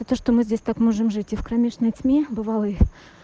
это что мы здесь так можем жить и в кромешной тьме бывалой